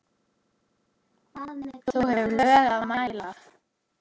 þú hefur lög að mæla